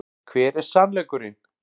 Hver er SANNLEIKURINN?